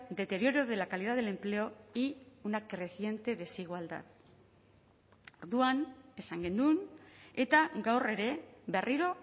deterioro de la calidad del empleo y una creciente desigualdad orduan esan genuen eta gaur ere berriro